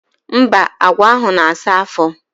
Mba, agwa ahụ na-asa afọ.